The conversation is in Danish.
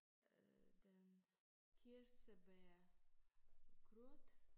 Øh den kirsebærgrød